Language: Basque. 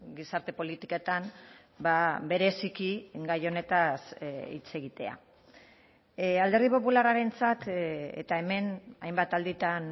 gizarte politiketan bereziki gai honetaz hitz egitea alderdi popularrarentzat eta hemen hainbat alditan